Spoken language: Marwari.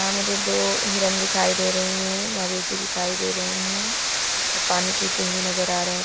मुझे दो हिरन भी दिखाय दे रहे है दे रहे है और पानी पिते हुए नज़र आ रहे है।